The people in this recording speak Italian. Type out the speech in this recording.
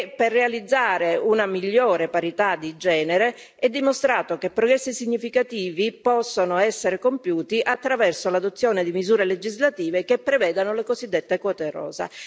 Per realizzare una migliore parità di genere, è dimostrato che progressi significativi possono essere compiuti attraverso l'adozione di misure legislative che prevedano le cosiddette quote rosa.